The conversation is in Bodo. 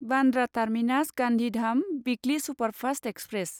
Bandra terminus Gandhidham weekly superfast express